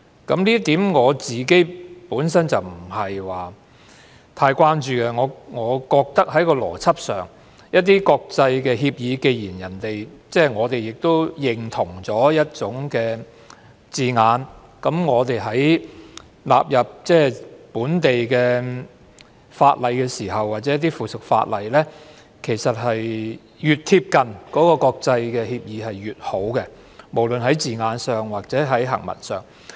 我對此本身不太關注，我覺得在邏輯上，既然我們已認同一些國際協議的字眼，那麼納入為本地法例或附屬法例的時候，其實越貼近國際協議便越好，無論是字眼上或行文上。